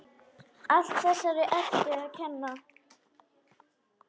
Allt þessari Eddu að kenna!